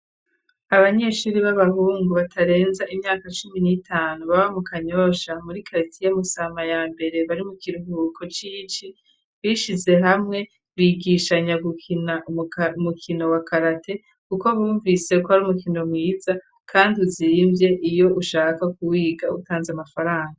Abanyeshuri b'abahungu batarenza imyaka cumi n'itanu baba mu kanyosha muri karitiya musama ya mbere bari mu kiruhuko c'ici bishize hamwe. Bigishanya gukina umukino wa karate kuko bumvise ko ari umukino mwiza kandi uzimvye iyo ushaka kuwiga utanze amafaranga.